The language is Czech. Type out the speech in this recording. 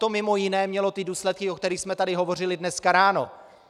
To mimo jiné mělo ty důsledky, o kterých jsme tady hovořili dneska ráno.